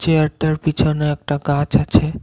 চেয়ারটার পিছনে একটা গাছ আছে।